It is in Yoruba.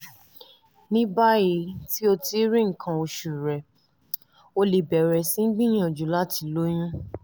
ní báyìí tí o ti rí nǹkan oṣù rẹ o lè bẹ̀rẹ̀ sí gbìyànjú láti lóyún